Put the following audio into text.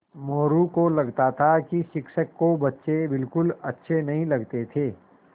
मोरू को लगता था कि शिक्षक को बच्चे बिलकुल अच्छे नहीं लगते थे